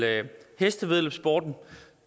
hestevæddeløbssporten